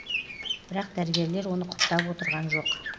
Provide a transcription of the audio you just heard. бірақ дәрігерлер оны құптап отырған жоқ